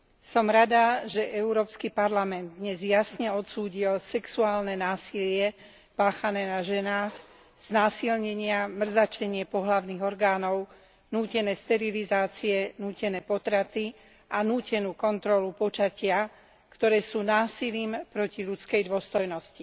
Som rada, že Európsky parlament dnes jasne odsúdil sexuálne násilie páchané naženách, znásilnenia, mrzačenie pohlavných orgánov, nútené sterilizácie, nútené potraty a nútenú kontrolu počatia, ktoré sú násilím proti ľudskej dôstojnosti.